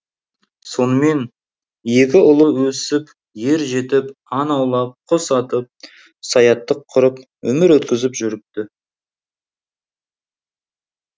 сонымен екі ұлы өсіп ер жетіп аң аулап құс атып саяттық құрып өмір өткізіп жүріпті